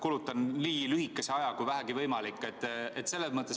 Kulutan nii vähe aega kui vähegi võimalik.